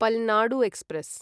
Palnadu express